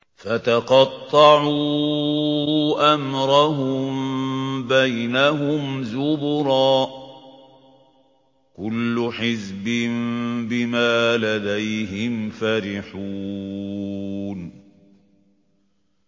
فَتَقَطَّعُوا أَمْرَهُم بَيْنَهُمْ زُبُرًا ۖ كُلُّ حِزْبٍ بِمَا لَدَيْهِمْ فَرِحُونَ